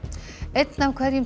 einn af hverjum